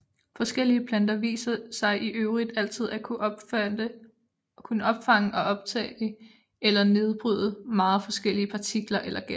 Forskellige planter viser sig i øvrigt altid at kunne opfange og optage eller nedbryde meget forskellige partikler eller gasser